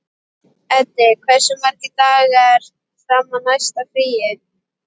Eddi, hversu margir dagar fram að næsta fríi?